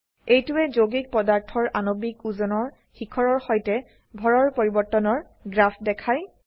এইটোৱে যৌগিক পদাৰ্থৰ আনবিক ওজনৰ শিখৰৰ সৈতে ভৰৰ পৰিবৰ্তনৰ গ্ৰাফ দেখায়